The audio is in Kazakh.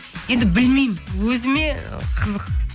енді білмеймін өзіме қызық